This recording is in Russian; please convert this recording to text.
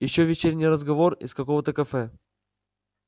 ещё вечерний разговор из какого-то кафе